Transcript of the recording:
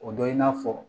O dɔ ye i n'a fɔ